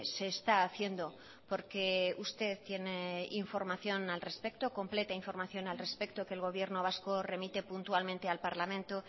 se está haciendo porque usted tiene información al respecto completa información al respeto que el gobierno vasco remite puntualmente al parlamento